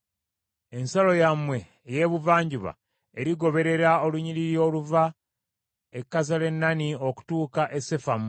Ensalo yammwe ey’ebuvanjuba erigoberera olunyiriri oluva e Kazalenooni okutuuka e Sefamu.